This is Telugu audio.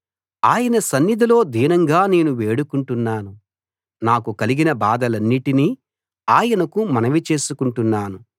ఆయన సన్నిధిలో దీనంగా నేను వేడుకుంటున్నాను నాకు కలిగిన బాధలన్నిటినీ ఆయనకు మనవి చేసుకుంటున్నాను